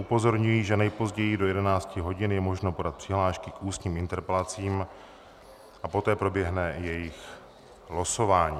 Upozorňuji, že nejpozději do 11 hodin je možno podat přihlášky k ústním interpelacím a poté proběhne jejich losování.